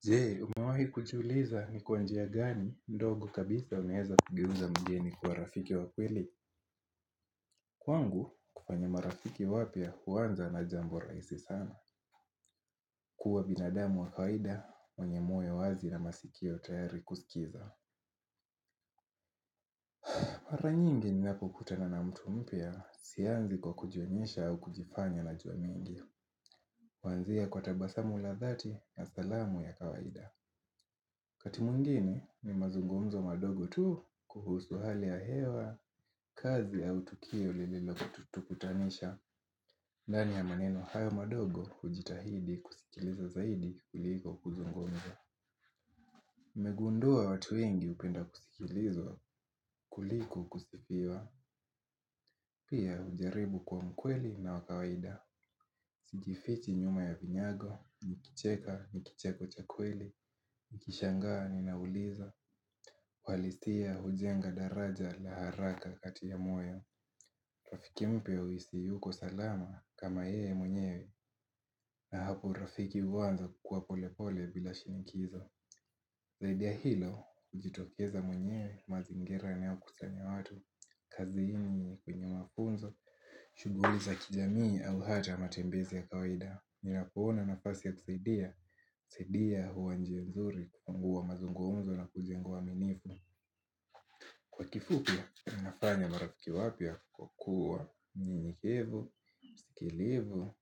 Jee umawai kujiuliza ni kwa njia gani ndogo kabisa unaeza kugeuza mgeni kwa rafiki wa kweli Kwangu kufanya marafiki wapya huanza na jambo rahisi sana kuwa binadamu wa kawaida wenye moyo wazi na masikio tayari kusikiza Mara nyingi ninapokutana na mtu mpya sianzi kwa kujionyesha au kujifanya na jua mingi kuanzia kwa tabasamu la dhati ya salamu ya kawaida Wakati mwingine ni mazungumzo madogo tu kuhusu hali ya hewa, kazi au tukio lilotukutanisha, ndani ya maneno haya madogo hujitahidi kusikiliza zaidi kuliko kuzungumza. Nimegundua watu wengi upenda kusikilizwa, kuliko kusifiwa, pia ujaribu kuwa mkweli na wa kawaida. Sijifichi nyuma ya vinyago, nikicheka nikicheko cha kweli, nikishangaa ninauliza Walistia hujenga daraja la haraka katika moyo Rafiki mpe huisi yuko salama kama yeye mwenyewe na hapo urafiki uanza kukua polepole bila shinikizo Zaidi ya hilo, ujitokeza mwenyewe mazingira yanayo kusanya watu kazini kwenye mafunzo, shughuli za kijamii au hata matembezi ya kawaida Ninapoona nafasi ya kusaidia, kusaidia huwa njia mzuri kwa mazungumzo na kujengwa uaminifu Kwa kifupi, nafanya marafiki wapya kwa kua mmnyenyekevu, msikilivu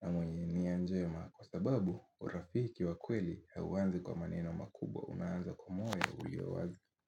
na mwenye nia njema Kwa sababu, urafiki wa kweli hauanzi kwa maneno makubwa, unaanza kwa moyo ulio wazi.